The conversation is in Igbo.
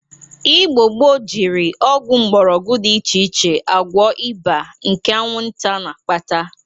Igbo gboo jiri ọgwụ mgbọrọgwọ dị iche agwọ ịba nke aṅwụnta na-akpata.